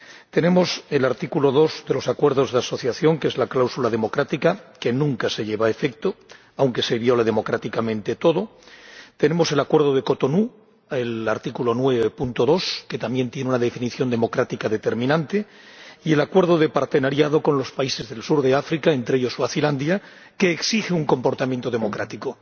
Contamos con el artículo 2 de los Acuerdos de Asociación, que es la cláusula democrática —que nunca se lleva a efecto, aunque se viole democráticamente todo—, contamos con el Acuerdo de Cotonú —con su artículo 9, apartado 2, que también tiene una definición democrática determinante—, y con el Acuerdo de Cooperación con los países del sur de África, entre ellos Suazilandia, que exige un comportamiento democrático.